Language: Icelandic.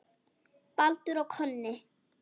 Baldur og Konni